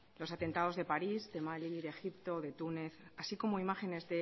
los atentados de paris de mali de egipto y de túnez así como imágenes